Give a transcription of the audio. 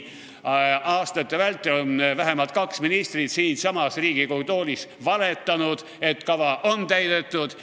Aastate vältel on vähemalt kaks ministrit siinsamas Riigikogu toolis valetanud, et kava on täidetud.